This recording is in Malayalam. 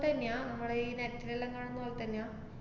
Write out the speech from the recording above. തന്നെയാ, നമ്മടെ ഈ net ലെല്ലാം കാണുന്ന പോലെ തന്നെയാ?